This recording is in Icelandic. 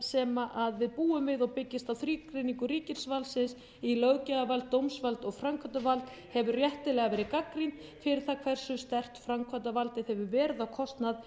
sem við búum við og byggist á þrígreiningu ríkisvaldsins í löggjafarvald dómsvald og framkvæmdarvald hefur réttilega verið gagnrýnd fyrir það hversu sterkt framkvæmdarvaldið hefur verið á kostnað